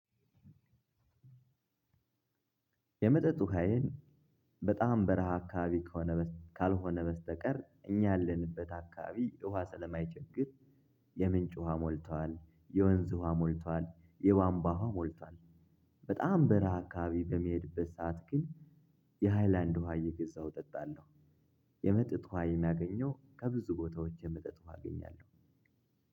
የመጠጥ ውሃዬን በጣም በረሃ አካባቢ ከሆነ ካልሆነ በስተቀር እኛ ያለንበት አካባቢ ውሃ ስለማይቸግር የምንጭ ውሃ ሞልቷል የወንዝ ውሃ ሞልቷል የቧንቧ ውሃ ሞልቷል። በጣም በረሃ አካባቢ በምሄድበት ስዓት ግን የሃይላንድ ውሃ እየገዛሁ እጠጣለሁ። የመጠጥ ውሃ የማገኘው ከብዙ ቦታዎች የመጠጥ ውሃ አገኛለሁ።